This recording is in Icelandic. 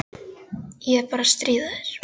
Ég er bara að stríða þér.